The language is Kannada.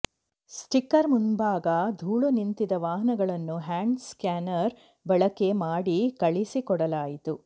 ಸ್ಟಿಕ್ಕರ್ ಮುಂಭಾಗ ಧೂಳು ನಿಂತಿದ್ದ ವಾಹನಗಳನ್ನು ಹ್ಯಾಂಡ್ ಸ್ಕ್ಯಾನರ್ ಬಳಕೆ ಮಾಡಿ ಕಳಿಸಿಕೊಡಲಾಯಿತು